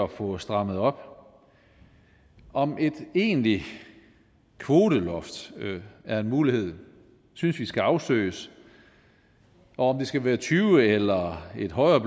få strammet op om et egentligt kvoteloft er en mulighed synes vi skal afsøges og om det skal være tyve eller et højere